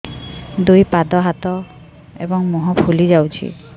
ଦୁଇ ପାଦ ହାତ ଏବଂ ମୁହଁ ଫୁଲି ଯାଉଛି